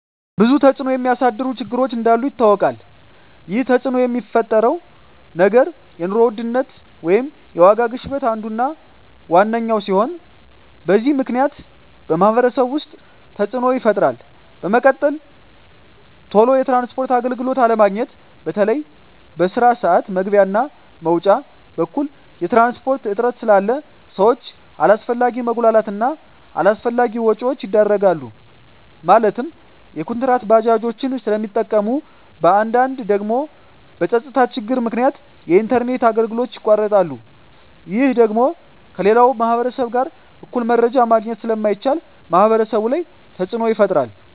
ብዙ ተፅዕኖ የሚያሳድሩ ችግሮች እንዳሉ ይታወቃል ይህ ተፅዕኖ የሚፈጥረው ነገር የኑሮ ውድነት ወይም የዋጋ ግሽበት አንዱ እና ዋነኛው ሲሆን በዚህ ምክንያት በማህበረሰቡ ውስጥ ተፅዕኖ ይፈጥራል በመቀጠል ቶሎ የትራንስፖርት አገልግሎት አለማግኘት በተለይ በስራ ስዓት መግቢያ እና መውጫ በኩል የትራንስፖርት እጥረት ስላለ ሰዎች አላስፈላጊ መጉላላት እና አላስፈላጊ ወጪዎች ይዳረጋሉ ማለትም ኩንትራት ባጃጆችን ስለሚጠቀሙ በአንዳንድ ደግሞ በፀጥታ ችግር ምክንያት የኢንተርኔት አገልግሎቶች ይቋረጣሉ ይህ ደግሞ ከሌላው ማህበረሰብ ጋር እኩል መረጃ ማግኘት ስለማይቻል ማህበረሰቡ ላይ ተፅዕኖ ይፈጥራል